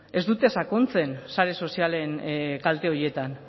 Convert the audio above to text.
ez dute sakontzen sare sozialen kalte horietan